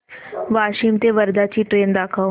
वाशिम ते वर्धा ची ट्रेन दाखव